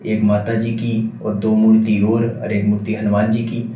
एक माताजी की और दो मूर्ति और एक मूर्ति हनुमान जी की--